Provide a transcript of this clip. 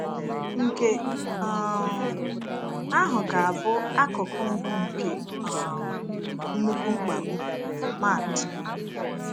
Nke um ahụ ga-abụ akụkụ mbụ nke um “nnukwu mkpagbu.” — Mat.